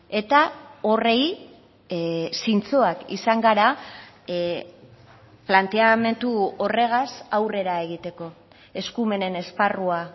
eta horri zintzoak izan gara planteamendu horregaz aurrera egiteko eskumenen esparrua